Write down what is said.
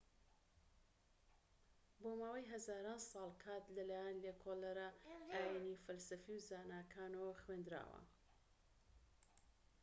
بۆ ماوەی هەزاران ساڵ کات لە لایەن لێکۆڵەرە ئاینیی فەلسەفی و زاناکانەوە خوێندراوە